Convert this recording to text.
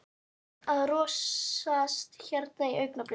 Einn að rolast hérna í augnablikinu.